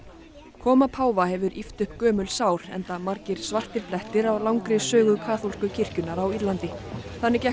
koma páfa hefur ýft upp gömul sár enda margir svartir blettir á langri sögu kaþólsku kirkjunnar á Írlandi þannig gekk